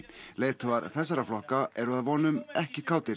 leiðtogar þessara flokka eru að vonum ekki kátir